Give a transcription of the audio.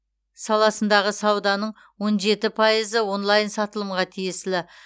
саласындағы сауданың он жеті пайызы онлайн сатылымға тиесілі